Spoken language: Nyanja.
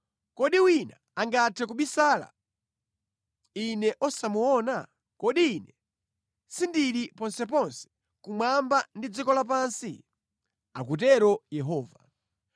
Kodi wina angathe kubisala Ine osamuona?” “Kodi Ine sindili ponseponse kumwamba ndi dziko lapansi?” Akutero Yehova.